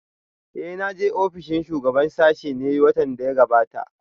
Eh na je ofishin shugaban sashen ne watan da ya gabata?